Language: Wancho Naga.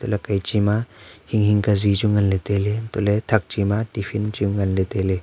la phai chi ma hing hing ka zii chu ngan ley tailey antoh ley thak chima tiffin chu ngan ley tailey.